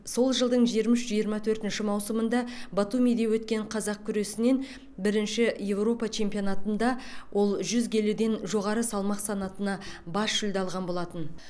сол жылдың жиырма үш жиырма төртінші маусымында батумиде өткен қазақ күресінен бірінші еуропа чемпионатында ол жүз келіден жоғары салмақ санатына бас жүлде алған болатын